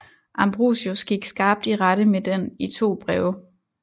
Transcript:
Ambrosius gik skarpt i rette med den i to breve